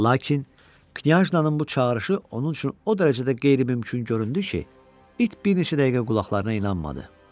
Lakin Knyazna-nın bu çağırışı onun üçün o dərəcədə qeyri-mümkün göründü ki, it bir neçə dəqiqə qulaqlarına inanmadı.